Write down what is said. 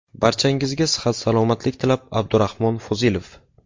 Barchangizga sihat-salomatlik tilab, Abdurahmon Fozilov .